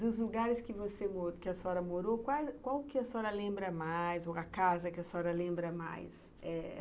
Dos lugares que você morou, a senhora morou, qual que a senhora lembra mais, ou a casa que a senhora lembra mais? eh